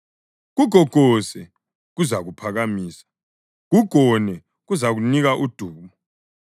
Kugogose, kuzakuphakamisa; kugone, kuzakunika udumo.